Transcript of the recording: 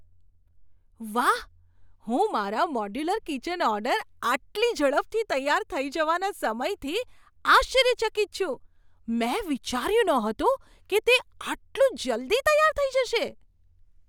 વાહ! હું મારા મોડ્યુલર કિચન ઓર્ડર આટલી ઝડપથી તૈયાર થઈ જવાના સમયથી આશ્ચર્યચકિત છું. મેં વિચાર્યું નહોતું કે તે આટલું જલ્દી તૈયાર થઈ જશે!